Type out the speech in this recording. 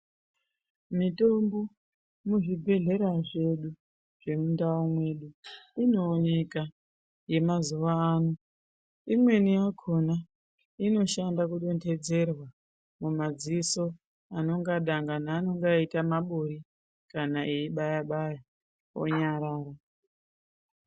Mitombo muzvibhedlera zvedu zvemundau mwedu inooneka yemazuano imweni yakona inoshanda kudendedzerwa mumadziso anonga dangani anonge aita mabori kana eibaya baya onyarara.